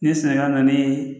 Ni ye sɛnɛgali n'i ye